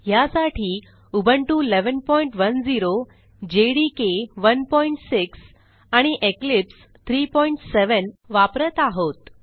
ह्यासाठी Ubuntu 1110 JDK 16 आणि Eclipse 37 वापरत आहोत